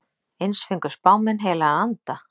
Eins fengu spámenn heilagan anda.